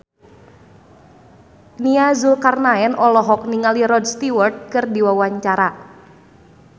Nia Zulkarnaen olohok ningali Rod Stewart keur diwawancara